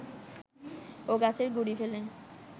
ও গাছের গুঁড়ি ফেলে